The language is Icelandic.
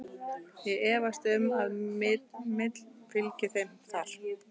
Ég efast um að Mill fylgi þeim þar.